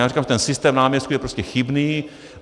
Já říkám, že ten systém náměstků je prostě chybný.